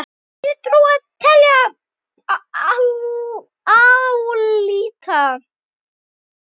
Þar þýðir trúa: telja, álíta.